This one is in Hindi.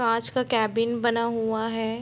कांच का कैबिन बना हुआ है।